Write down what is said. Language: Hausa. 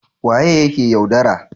waye yake yaudara?